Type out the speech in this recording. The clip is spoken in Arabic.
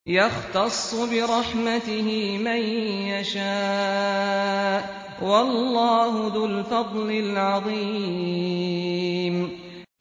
يَخْتَصُّ بِرَحْمَتِهِ مَن يَشَاءُ ۗ وَاللَّهُ ذُو الْفَضْلِ الْعَظِيمِ